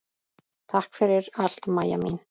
Takk fyrir allt, Maja mín.